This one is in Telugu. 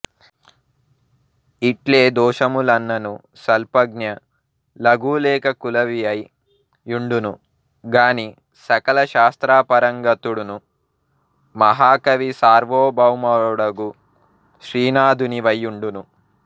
ఇ ట్లేదోషములున్నను నల్పజ్ఞు లగులేఖకులవియై యుండును గాని సకలశాస్త్రపారంగతుఁడును మహాకవిసార్వభౌముఁ డగు శ్రీనాథునివై యుండవు